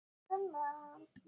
Þetta er svona eins og.